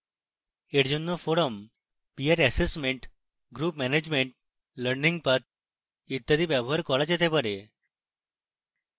এর জন্য forums peer assessments group management learning paths ইত্যাদি ব্যবহার করা যেতে পারে